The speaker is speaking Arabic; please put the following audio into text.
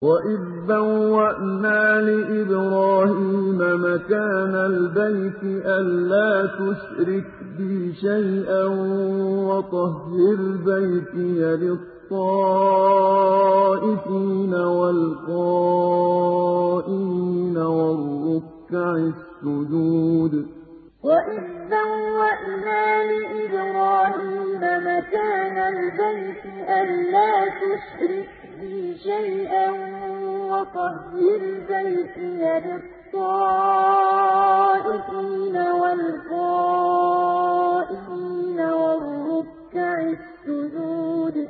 وَإِذْ بَوَّأْنَا لِإِبْرَاهِيمَ مَكَانَ الْبَيْتِ أَن لَّا تُشْرِكْ بِي شَيْئًا وَطَهِّرْ بَيْتِيَ لِلطَّائِفِينَ وَالْقَائِمِينَ وَالرُّكَّعِ السُّجُودِ وَإِذْ بَوَّأْنَا لِإِبْرَاهِيمَ مَكَانَ الْبَيْتِ أَن لَّا تُشْرِكْ بِي شَيْئًا وَطَهِّرْ بَيْتِيَ لِلطَّائِفِينَ وَالْقَائِمِينَ وَالرُّكَّعِ السُّجُودِ